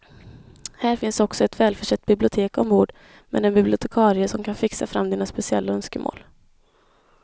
Här finns också ett välförsett bibliotek ombord med en bibliotekarie som kan fixa fram dina speciella önskemål.